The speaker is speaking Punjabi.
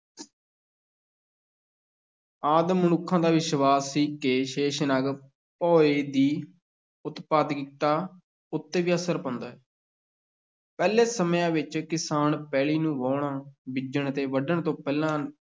ਆਦਿ ਮਨੁੱਖ ਦਾ ਵਿਸ਼ਵਾਸ ਸੀ ਕਿ ਸ਼ੇਸ਼ਨਾਗ ਭੋਇੰ ਦੀ ਉਤਪਾਦਿਕਤਾ ਉੱਤੇ ਵੀ ਅਸਰ ਪਾਉਂਦਾ ਹੈ ਪਹਿਲੇ ਸਮਿਆਂ ਵਿੱਚ ਕਿਸਾਨ ਪੈਲੀ ਨੂੰ ਵਾਹੁਣ, ਬੀਜਣ ਤੇ ਵੱਢਣ ਤੋਂ ਪਹਿਲਾਂ